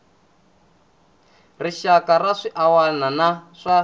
rixaka na swiana wana swa